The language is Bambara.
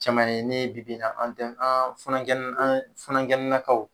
Cɛman ye ne bibi in an den an funankɛni an funankɛni nankaw